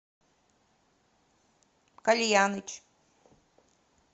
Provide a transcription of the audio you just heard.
кальяныч